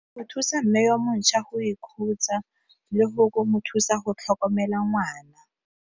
Go thusa mme wa montšhwa go ikhutsa le go mo thusa go tlhokomela ngwana.